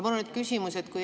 Mul on nüüd küsimus.